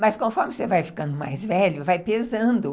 Mas conforme você vai ficando mais velho, vai pesando.